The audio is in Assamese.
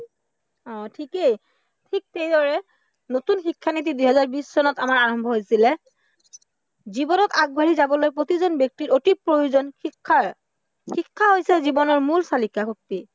অ ঠিকেই, ঠিক সেইদৰে নতুন শিক্ষানীতি দুহেজাৰ বিশ চনত আমাৰ আৰম্ভ হৈছিলে, জীৱনত আগবাঢ়ি যাবলৈ প্ৰতিজন ব্য়ক্তিৰ অতি প্ৰয়োজন শিক্ষাৰ, শিক্ষা হৈছে জীৱনৰ মূল চালিকাশক্তি